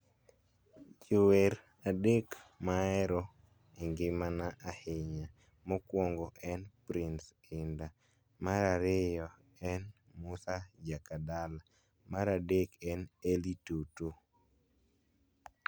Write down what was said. jower adek mahero e ngima na ahinya, mokuongo en prince indah mar ariyo en musa jakadala mar aderk en Elly Toto